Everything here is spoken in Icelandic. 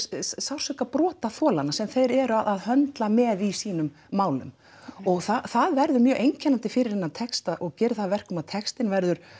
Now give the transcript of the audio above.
sársauka brotaþolanna sem þeir eru að höndla með í sínum málum og það verður mjög einkennandi fyrir þennan texta og gerir það að verkum að textinn verður